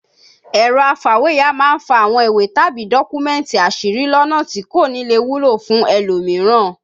Ẹ̀rọ afàwéya máa ń fa àwọn ìwé tàbí dọ́kúmẹ̀tì àṣírí lọ́nà tí kò nílè wúlò fún ẹlòmíràn